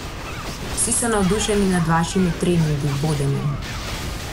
Vsi so navdušeni nad vašimi treningi, vodenjem.